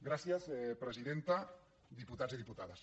gràcies presidenta diputats i diputades